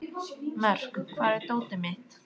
Mörk, hvar er dótið mitt?